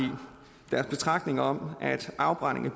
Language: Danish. deres betragtninger om at afbrænding